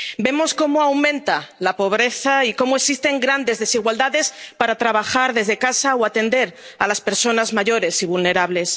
Vemos cómo aumenta la pobreza y cómo existen grandes desigualdades para trabajar desde casa o atender a las personas mayores y vulnerables.